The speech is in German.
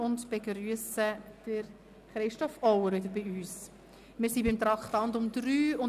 Wir begrüssen wieder Christoph Auer, den Staatsschreiber, bei uns.